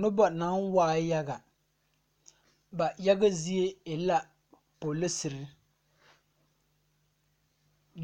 Nobɔ naŋ waa yaga ba yaga zie e la poliserre